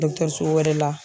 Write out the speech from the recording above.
wɛrɛ la